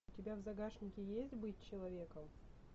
у тебя в загашнике есть быть человеком